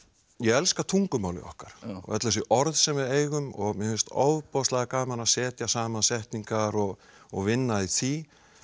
ég elska tungumálið okkar öll þessi orð sem við eigum og mér finnst ofboðslega gaman að setja saman setningar og og vinna í því